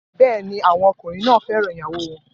Bẹ́ẹ̀ ni, àwọn ọkùnrin náà fẹ́ràn ìyàwó wọn